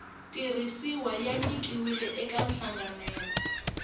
tirhisiwa ya nyikiwile eka nhlanganelo